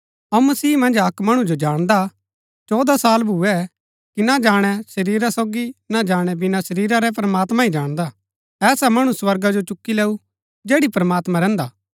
अऊँ मसीह मन्ज अक्क मणु जो जाणदा चौदह साल भूए कि ना जाणै शरीरा सोगी ना जाणै बिना शरीरा रै प्रमात्मां ही जाणदा ऐसा मणु स्वर्गा जो चूकी लैऊ जैड़ी प्रमात्मां रैहन्दा